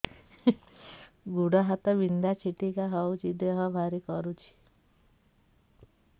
ଗୁଡ଼ ହାତ ବିନ୍ଧା ଛିଟିକା ହଉଚି ଦେହ ଭାରି କରୁଚି